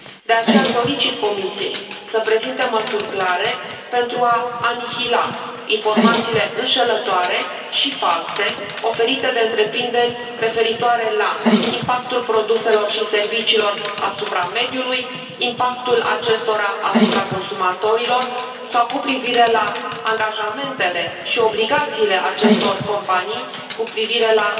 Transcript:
De aceea, solicit Comisiei să prezinte măsuri clare pentru a anihila informațiile înșelătoare și false oferite de întreprinderi referitoare la impactul produselor și serviciilor asupra mediului, impactul acestora asupra consumatorilor sau cu privire la angajamentele și obligațiile acestor companii cu privire la